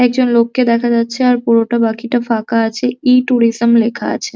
একজন লোককে দেখা যাচ্ছে আর পুরোটা বাকিটা ফাঁকা আছে। ই - ট্যুরিসম লেখা আছে।